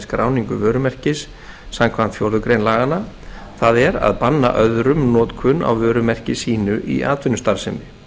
skráningu vörumerkis samkvæmt fjórðu grein laganna það er að banna öðrum notkun á vörumerki sínu í atvinnustarfsemi